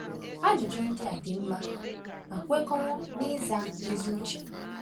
Ajụjụ ndị a dị mma ma kwekọrọ n’ịza ezi uche.